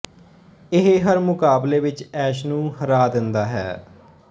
ਇਹ ਹਰ ਮੁਕਾਬਲੇ ਵਿੱਚ ਐਸ਼ ਨੂੰ ਹਰਾ ਦਿੰਦਾ ਹੈ